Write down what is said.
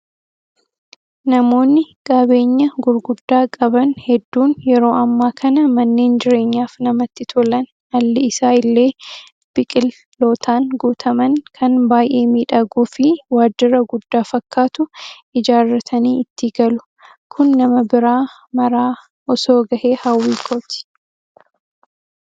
Namoonni qabeenyaa gurguddaa qaban hedduun yeroo ammaa kana manneen jireenyaaf namatti tolan alli isaa illee biqilootaan guutaman kan baay'ee miidhaguu fi waajjira guddaa fakkaatu ijaarratanii itti galu. Kun nama bira maraa osoo gahee hawwii kooti.